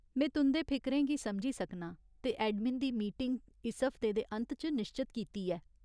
में तुं'दे फिकरें गी समझी सकनां ते एडमिन दी मीटिंग इस हफ्ते दे अंत च निश्चत कीती ऐ।